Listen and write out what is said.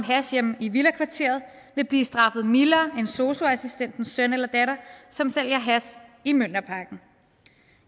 hash hjemme i villakvarteret vil blive straffet mildere end sosu assistentens søn eller datter som sælger hash i mjølnerparken